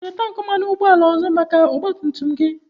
Ị nwere tankị mmanụ ụgbọala ọzọ maka ọgba tum tum gị?